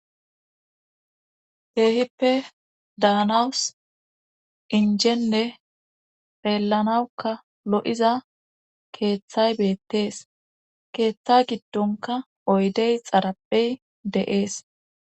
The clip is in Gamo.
Heehippe daanawus injene phellanawukka lo'iza keeththay beettees keeththa giddonka oydey xarabey de'ees.